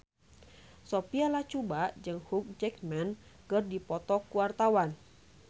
Sophia Latjuba jeung Hugh Jackman keur dipoto ku wartawan